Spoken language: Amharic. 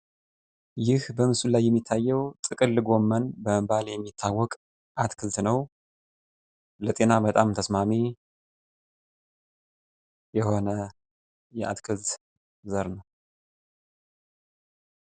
ይህ በምስሉ ላይ የሚታየው ጥቅል ጎመን በመባል የሚታወቅ አትክልት ነው። ለጤና በጣም ተስማሚ የሆነ የአትክልት ዘር ነው።